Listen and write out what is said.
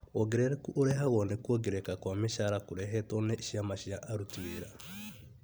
Wongerereku ũrehagwo nĩ kuongerereka kwa micara kũrehetwo nĩ ciama cia aruti wĩra